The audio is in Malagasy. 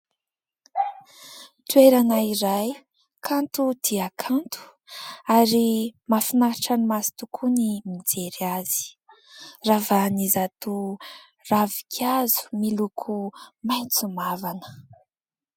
Toerana iray kanto dia kanto ary mahafinaritra ny maso tokoa ny mijery azy. Ravahan'izato ravinkazo miloko maitso mavana.